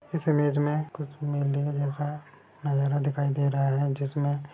इस इमेज मे कुछ मेले जैसा है नजारा दिखाई दे रहा है जिसमे--